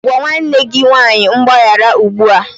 Gwa nwanne gị nwanyị mgbaghara ugbu a!